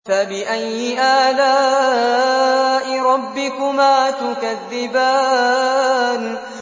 فَبِأَيِّ آلَاءِ رَبِّكُمَا تُكَذِّبَانِ